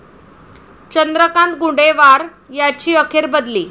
चंद्रकांत गुडेवार यांची अखेर बदली